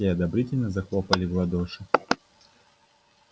все одобрительно захлопали в ладоши